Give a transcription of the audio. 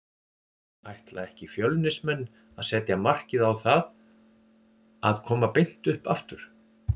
Ætla ekki Fjölnismenn að setja markið á það að koma beint upp aftur?